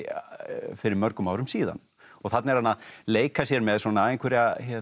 fyrir mörgum árum síðan þarna er hann að leika sér með einhverja